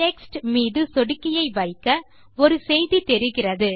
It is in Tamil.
டெக்ஸ்ட் மீது சொடுக்கியை வைக்க ஒரு செய்தி தெரிகிறது